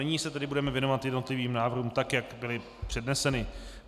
Nyní se tedy budeme věnovat jednotlivým návrhům tak, jak byly předneseny.